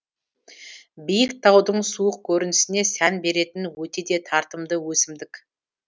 биік таудың суық көрінісіне сән беретін өте де тартымды өсімдік